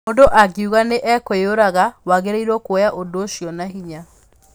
Mũndũ angiuga nĩ ekwĩyũraga, wagĩrĩiro kwoya ũndũ ũcio na hinya.